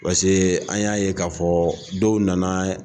Paseke an y'a ye k'a fɔ dɔw nana.